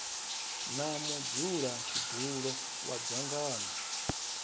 na mudzula tshidulo wa dzangano